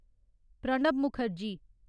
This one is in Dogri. प्रणब मुखर्जी